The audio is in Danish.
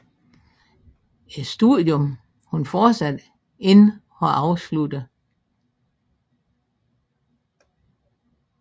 Et studium hun fortsat ikke har afsluttet